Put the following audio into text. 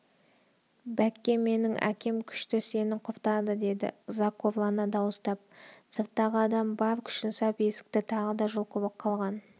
бәкке менің әкем күшті сені құртады деді ызақорлана дауыстап сырттағы адам бар күшін сап есікті тағы да жұлқып қалған